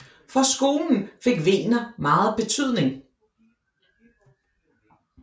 For skolen fik Wegener megen betydning